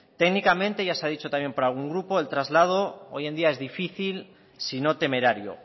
técnicamente ya se ha dicho también por algún grupo el traslado hoy en día es difícil sino temerario